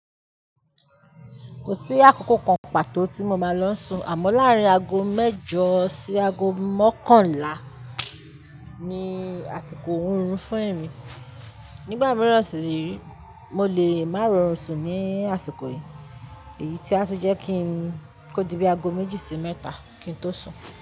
Kò sí àkókò kan pàtó tí mo máa lọ sun, àmọ́ láàrín ago mẹ́jọ sí ago mọ́kànlá ni àsìkò oorun fún èmi. Nígbà mìíràn sì re, mo lè máa rọrùn sun ní àsìkò yìí. Èyí tí a sì jẹ́ kí n kó di bí ago méjì sí mẹ́ta kí n tó sun.